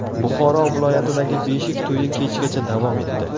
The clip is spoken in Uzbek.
Buxoro viloyatidagi beshik to‘yi kechgacha davom etdi.